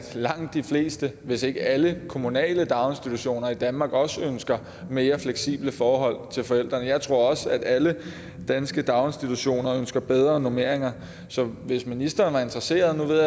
langt de fleste hvis ikke alle kommunale daginstitutioner i danmark også ønsker mere fleksible forhold til forældrene jeg tror også at alle danske daginstitutioner ønsker bedre normeringer så hvis ministeren er interesseret nu ved